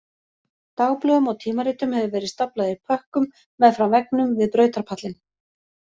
Dagblöðum og tímaritum hefur verið staflað í pökkum meðfram veggnum við brautarpallinn